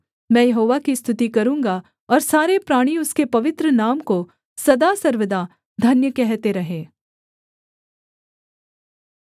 मैं यहोवा की स्तुति करूँगा और सारे प्राणी उसके पवित्र नाम को सदा सर्वदा धन्य कहते रहें